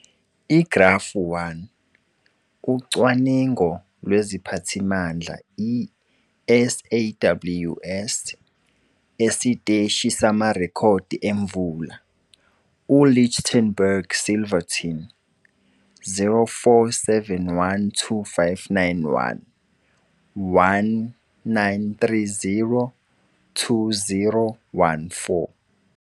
Igrafu 1- Ucwaningo lweziphathimandla i-SAWS esiteshi samarekhodi emvula- U-Lichtenburg Silverton [0471259 1], 1930 2014.